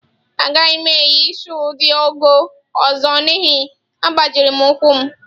Agaghị m eyi shụụ dị ọgọ́ ọzọ n'ihi agbajiri ụkwụ m.